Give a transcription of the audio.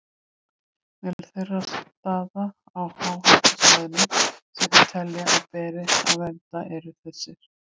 Meðal þeirra staða á háhitasvæðum sem þeir telja að beri að vernda eru þessir